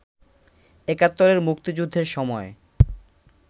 একাত্তরের মুক্তিযুদ্ধের সময়